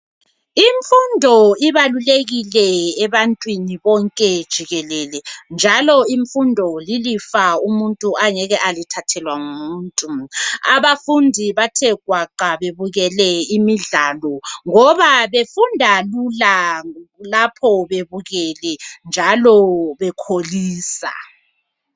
Imfundo ibalulekile ebantwini bonke jikelele njalo imfundo lilifa umuntu angeke alithathelwa ngumuntu. Abafundi bathe gwaqa bebukele imidlalo ngoba befunda lula lapho bebukele njalo bekholisa.